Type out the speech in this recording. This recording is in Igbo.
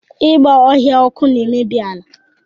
Ịgba ọhịa ọkụ na-emebi ala